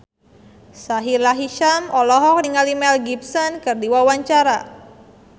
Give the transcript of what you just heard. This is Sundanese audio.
Sahila Hisyam olohok ningali Mel Gibson keur diwawancara